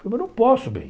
Falou, eu não posso, bem.